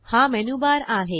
हा मेनूबारआहे